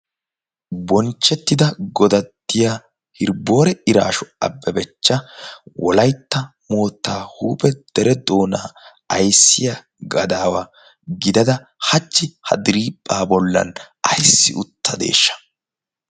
bonchchettida godattiya hiriboore iraashu abbebechcha wolaitta mootta huuphe dere doonaa aissiya gadaawa gidada hachchi ha diriiphphaa bollan aissi utta deeshsha?